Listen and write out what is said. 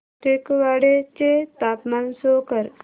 टेकवाडे चे तापमान शो कर